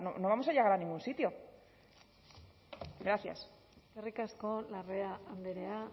no vamos a llegar a ningún sitio gracias eskerrik asko larrea andrea